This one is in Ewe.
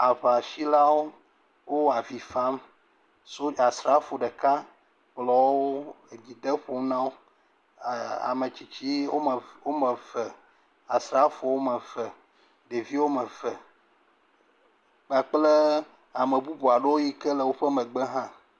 Aŋasilawo le avi fam sodza srafo ɖeka kplɔ wo le dzi dem ƒo na wo, ametsitsi eve, asrafowo wome eve ɖeviwo woame eve kpakple ame bubu yi ke le woƒe megbe hã.